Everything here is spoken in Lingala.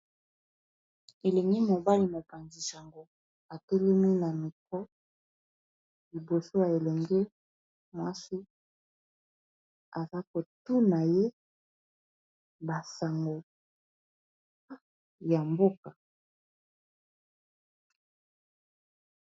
Elengi mobali, mopanzi sango ; atelemi na micro liboso ya elengi mwasi. Aza kotuna ye ba sango ya mboka.